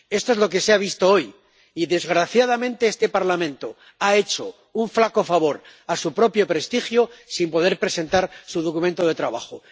Esto es lo que se ha visto hoy y, desgraciadamente, este Parlamento ha hecho un flaco favor a su propio prestigio sin poder presentar su documento de trabajo.